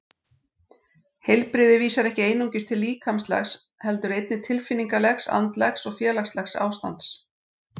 Heilbrigði vísar ekki einungis til líkamlegs heldur einnig tilfinningalegs, andlegs og félagslegs ástands.